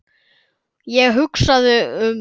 Ég hugsaði um